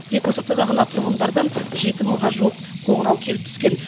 тек осы аптада ғана тұрғындардан жеті мыңға жуық қоңырау келіп түскен